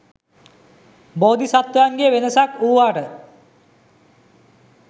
බෝධිසත්වයන්ගේ වෙනසක් වූවාට